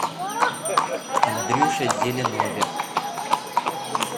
андрюше зеленове